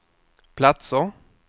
platser